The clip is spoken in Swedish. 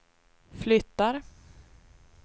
flyttar